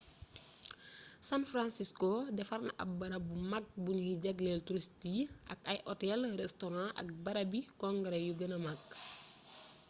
san francisco defar na ab barab bu mag buñuy jagleel turist yi ak ay otel restaurants ak barabi kongéré yu gëna mag